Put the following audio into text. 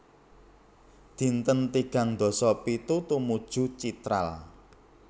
Dinten tigang dasa pitu Tumuju Chitral